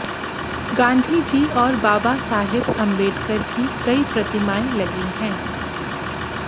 गांधी जी और बाबा साहेब अंबेडकर की कई प्रतिमाएं लगी हैं